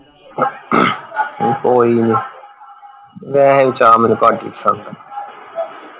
ਕੋਈ ਨਹੀਂ ਵੈਸੇ ਵੀ ਚਾ ਮੈਨੂੰ ਘੱਟ ਹੀ ਪਸੰਦ ਆ